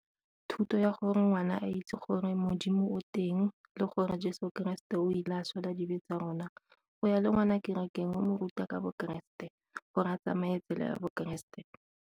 Thuto ya gore ngwana a itse gore modimo o teng le gore jeso keresete o ile a swela dibe tsa rona, go ya le ngwana kerekeng o mo ruta ka bo keresete gore a tsamaye tsela ya bo keresete.